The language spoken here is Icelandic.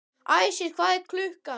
Æsir, hvað er klukkan?